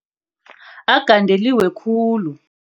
Agandeliwe khulu.